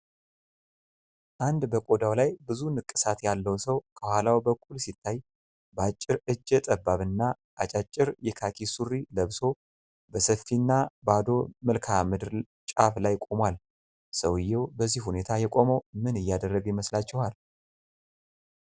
አንድ በቆዳው ላይ ብዙ ንቅሳት ያለው ሰው ከኋላው በኩል ሲታይ፣ በአጭር እጀ ጠባብና አጫጭር የካኪ ሱሪ ለብሶ በሰፊና ባዶ መልክዓ ምድር ጫፍ ላይ ቆሟል። ሰውየው በዚህ ሁኔታ የቆመው ምን እያደረገ ይመስላችኋል?